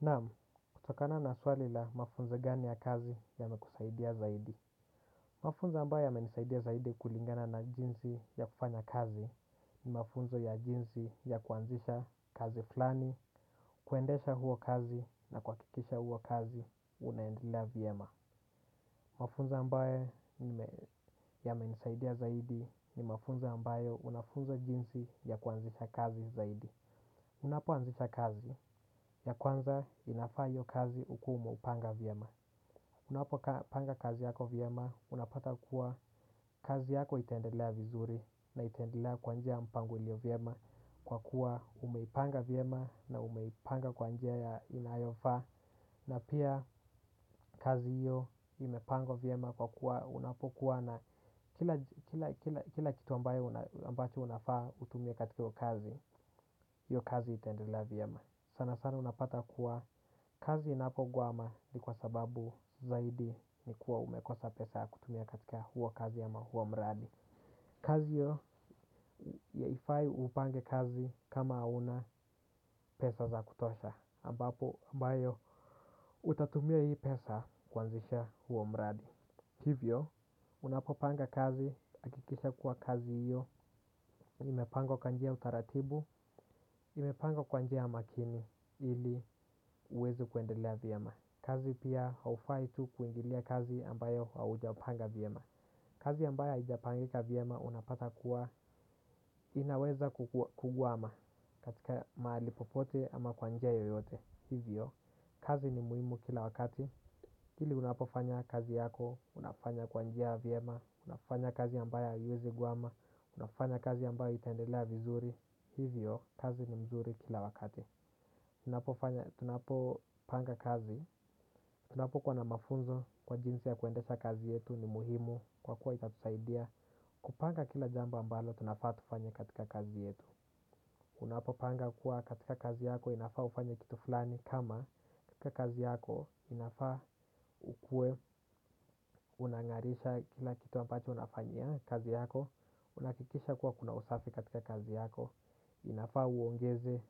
Naam, kutokana na swali la mafunzo gani ya kazi yamekusaidia zaidi. Mafunzo ambayo yamenisaidia zaidi kulingana na jinsi ya kufanya kazi ni mafunzo ya jinsi ya kuanzisha kazi flani, kuendesha huo kazi na kuhakikisha huo kazi, unaendelea vyema. Mafunzo ambayo yamenisaidia zaidi ni mafunzo ambayo unafunzwa jinsi ya kuanzisha kazi zaidi. Unapoanzisha kazi ya kwanza inafaa hiyo kazi ukuwe umeupanga vyema. Unapopanga kazi yako vyema unapata kuwa kazi yako itaendelea vizuri na itaendelea kwa njia mpango ilio vyema. Kwa kuwa umeipanga vyema na umeipanga kwa njia inayofaa. Na pia kazi hiyo imepangwa vyema kwa kuwa unapokuwa na kila kitu ambayo ambacho unafaa utumie katika hiyo kazi hiyo kazi itaendelea vyema sana sana unapata kuwa kazi inapogwama ni kwa sababu zaidi ni kuwa umekosa pesa ya kutumia katika huo kazi ama huo mradi kazi hiyo haifai upange kazi kama huna pesa za kutosha ambapo ambayo utatumia hii pesa kuanzisha huo mradi hivyo unapopanga kazi hakikisha kuwa kazi hiyo imepangwa kwa njia ya utaratibu imepangwa kwa njia ya makini ili uweze kuendelea vyema. Kazi pia haufai tu kuingilia kazi ambayo haujapanga vyama. Kazi ambayo haijapangika vyama unapata kuwa inaweza kugwama katika mahali popote ama kwa njia yoyote. Hivyo, kazi ni muhimu kila wakati pili unapofanya kazi yako, unafanya kwa njia vyema. Unafanya kazi ambayo haiwezi gwama. Unafanya kazi ambayo itaendelea vizuri. Hivyo, kazi ni mzuri kila wakati ninapofanya. Tunapopanga kazi. Tunapokuwa na mafunzo kwa jinsi ya kuendesha kazi yetu ni muhimu kwa kuwa itatusaidia kupanga kila jambo ambalo, tunafaa tufanye katika kazi yetu. Unapopanga kuwa katika kazi yako, inafaa ufanye kitu fulani. Kama katika kazi yako, inafaa ukuwe, unang'arisha kila kitu ambacho unafanyia kazi yako. Unakikisha kuwa kuna usafi katika kazi yako. Inafaa uongeze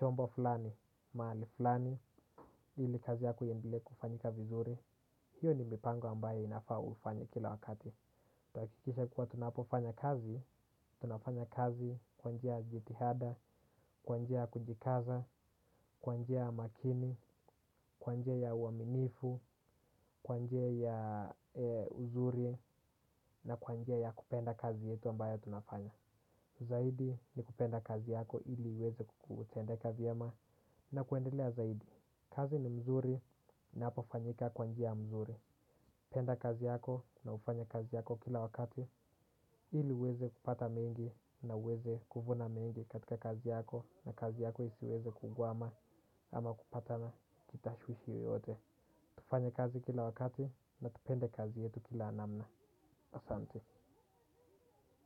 chombo fulani, mahali fulani. Ili kazi yako iendelee kufanyika vizuri. Hiyo ni mipango ambayo inafaa ufanye kila wakati. Tutahakikisha kuwa tunapofanya kazi. Tunafanya kazi kwa njia ya jitihada, kwa njia kujikaza, kwa njia ya makini. Kwa njia ya uaminifu, kwa njia ya uzuri. Na kwa njia ya kupenda kazi yetu ambayo tunafanya zaidi ni kupenda kazi yako ili iweze kutendeka vyema na kuendelea zaidi. Kazi ni mzuri inapofanyika kwa njia mzuri. Penda kazi yako na ufanye kazi yako kila wakati. Ili uweze kupata mengi na uweze kuvuna mengi katika kazi yako na kazi yako isiweze kugwama ama kupatana kitashwishi yoyote. Tufanye kazi kila wakati na tupende kazi yetu kila namna. Asante.